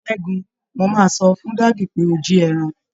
Ṣẹ́gun, mo máa sọ fún dádì pé o jí ẹran.